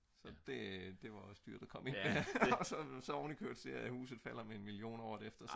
så det det var også dyrt at komme ind der og så når man ovenikøbet ser at huset så falder med 1 million året efter